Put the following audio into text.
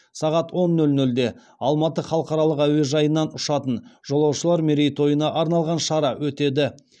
сағат он нөл нөлде алматы халықаралық әуежайынан ұшатын жолаушылар мерейтойына арналған шара өтеді